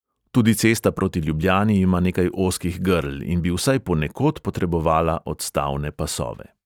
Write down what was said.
Tudi cesta proti ljubljani ima nekaj ozkih grl in bi vsaj ponekod potrebovala odstavne pasove.